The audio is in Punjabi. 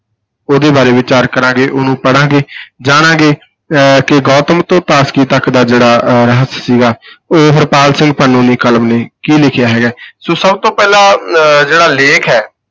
ਉਹਦੇ ਬਾਰੇ ਵਿਚਾਰ ਕਰਾਂਗੇ, ਉਹਨੂੰ ਪੜ੍ਹਾਂਗੇ ਜਾਣਾਂਗੇ ਅਹ ਕਿ ਗੋਤਮ ਤੋਂ ਤਾਸਕੀ ਤੱਕ ਦਾ ਜਿਹੜਾ ਅਹ ਰਹੱਸ ਸੀਗਾ ਉਹ ਹਰਪਾਲ ਸਿੰਘ ਪੰਨੂ ਦੀ ਕਲਮ ਨੇ ਕੀ ਲਿਖਿਆ ਹੈਗਾ ਸੋ ਸਭ ਤੋਂ ਪਹਿਲਾਂ ਅਹ ਜਿਹੜਾ ਲੇਖ ਹੈ,